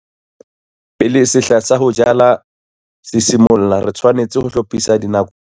Pele sehla sa ho jala se simolla, re tshwanetse ho hlophisa dinako tsa rona tsa tlhokomelo ya tseo re di sebedisang.